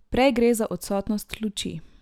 Prej gre za odsotnost luči.